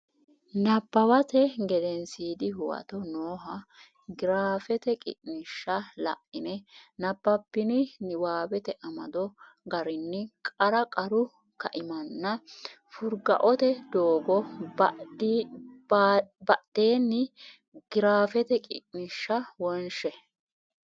Nabbawate Gedensiidi Huwato nooha giraafete qiniishsha la ine nabbabbini niwaawete amado garinni qarra qarru kaimanna furgaote doogo baddine giraafete qiniishshi wonshe.